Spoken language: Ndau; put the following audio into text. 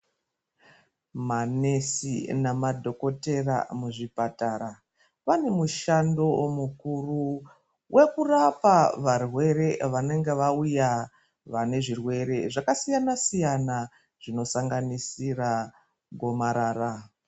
Manesi namadhokotera muzvipatara vane mushando mukuru wekurapa varwere vanenge vauya vane zvirwere zvakasiyana siyana zvinosanganisira gomarara.